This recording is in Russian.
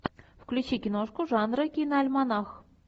включи киношку жанра киноальманах